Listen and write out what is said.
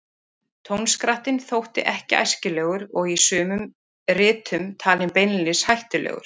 Tónskrattinn þótti ekki æskilegur og er í sumum ritum talinn beinlínis hættulegur.